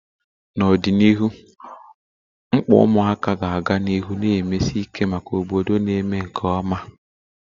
N'ọdịnihu, mkpa ụmụaka ga-aga n'ihu na-emesi ike maka obodo na-eme nke ọma